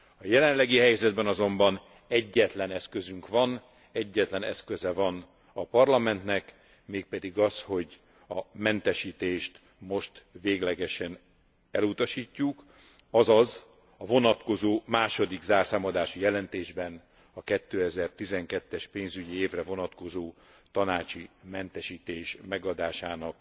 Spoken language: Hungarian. A jelenlegi helyzetben azonban egyetlen eszközünk van, egyetlen eszköze van a Parlamentnek, mégpedig az, hogy a mentesítést most véglegesen elutasítjuk, azaz a vonatkozó második zárszámadási jelentésben a 2012 es pénzügyi évre vonatkozó tanácsi mentesítés megadásának